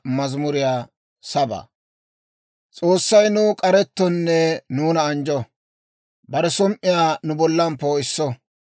S'oossay nuw k'arettonne nuuna anjjo; bare som"iyaa nu bollan poo'isso.